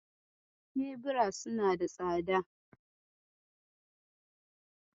Kebira suna da tsada.